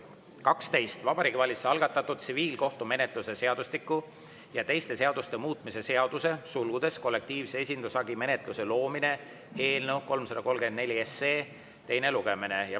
on Vabariigi Valitsuse algatatud tsiviilkohtumenetluse seadustiku ja teiste seaduste muutmise seaduse eelnõu 334 teine lugemine.